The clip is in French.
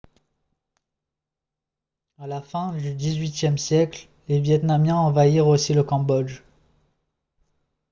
à la fin du xviiie siècle les vietnamiens envahirent aussi le cambodge